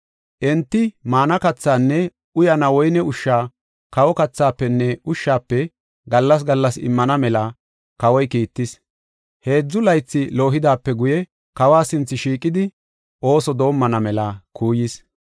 Enti maana kathaanne uyana woyne ushsha kawa kathaafenne ushshafe gallas gallas immana mela kawoy kiittis. Heedzu laythi loohidaape guye kawa sinthe shiiqidi ooso doomana mela qofa kuuyis.